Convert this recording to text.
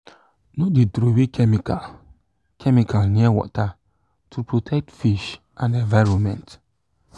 no throwey chemical chemical near water to protect fish and environment